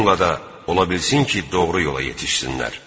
Bununla da ola bilsin ki, doğru yola yetişsinlər.